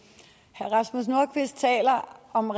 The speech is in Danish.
herre rasmus nordqvist taler om